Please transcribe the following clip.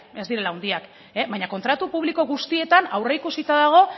ez direla handiak baina kontratu publiko guztietan aurreikusita dago